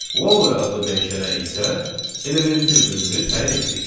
Value adlı dəyişənə isə elementin özünü təyin etdik.